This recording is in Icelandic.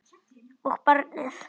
Og barnið.